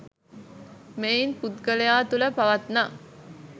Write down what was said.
මෙයින් පුද්ගලයා තුළ පවත්නා